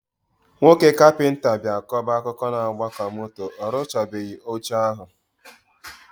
Nwoke kapịnta bịa kọba akụkọ na agba ka moto, orụchabeghi oche ahụ